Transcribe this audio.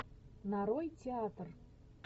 нарой театр